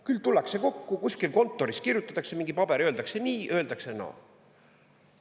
Küll tullakse kokku, kuskil kontoris kirjutatakse mingi paber, öeldakse nii, öeldakse naa.